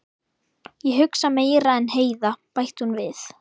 Ég hugsa meira en Heiða, bætti hún við.